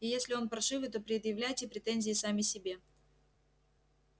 и если он паршивый то предъявляйте претензии сами себе